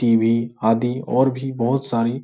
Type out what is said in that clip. TV. आदि और भी बहोत सारी --